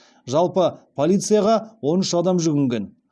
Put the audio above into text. жалпы полицияға он үш адам жүгінген